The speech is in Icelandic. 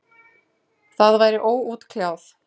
Það væri óútkljáð.